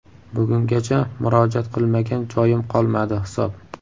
Bugungacha murojaat qilmagan joyim qolmadi hisob.